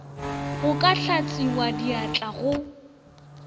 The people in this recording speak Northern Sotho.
go ka hlatswiwa diatla go